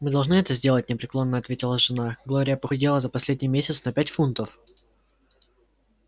мы должны это сделать непреклонно ответила жена глория похудела за последний месяц на пять фунтов